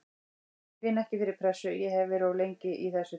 Ég finn ekki til pressu, ég hef verið of lengi í þessu til þess.